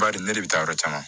Bari ne bɛ taa yɔrɔ caman